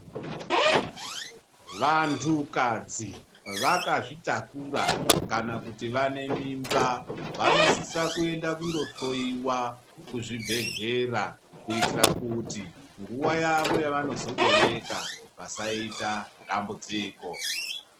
Vantukadzi vakazvitakura kana kuti vanemimba vanosisa kuenda kundohloyiwa kuzvibhehlera kuitira kuti nguva yavo yavanozobereka vasaita dambudziko.